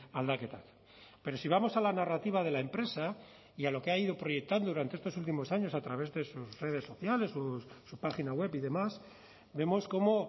aldaketak pero si vamos a la narrativa de la empresa y a lo que ha ido proyectando durante estos últimos años a través de sus redes sociales su página web y demás vemos cómo